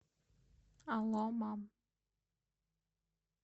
алло мам